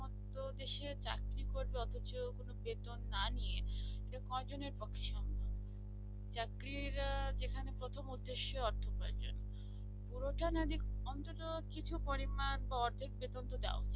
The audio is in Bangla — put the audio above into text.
তো দেশের চাকরি করবে অথচ বেতন না নিয়ে এটা কয়জনের পক্ষে সম্ভব চাকরির যেখানে প্রথম উদ্দেশ্য অর্থ উপার্জন পুরোটা না দেবে অন্তত কিছু পরিমাণ বা অর্ধেক বেতনতো দেওয়া উচিত